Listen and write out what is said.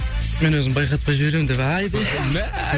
мен өзім байқатпай жіберімін деп айбей мә